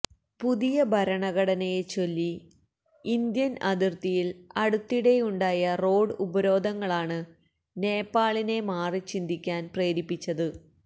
പുതിയ ഭരണഘടനയെച്ചൊല്ലി ഇന്ത്യൻ അതിർത്തിയിൽ അടുത്തിടെയുണ്ടായ റോഡ് ഉപരോധങ്ങളാണ് നേപ്പാളിനെ മാറിച്ചിന്തിക്കാൻ പ്രേരിപ്പിച്ചത്